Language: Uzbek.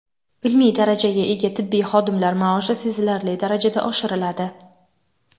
Ilmiy darajaga ega tibbiy xodimlar maoshi sezilarli darajada oshiriladi.